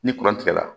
Ni tigɛra